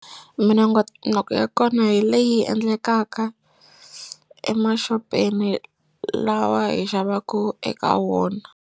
Minongonoko ya kona hi leyi endlekaka emaxopeni lawa hi xavaku eka wona.